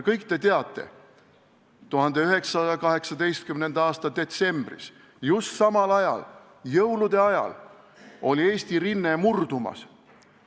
Kõik te teate, et 1918. aasta detsembris just jõulude ajal oli Eesti rinne murdumas.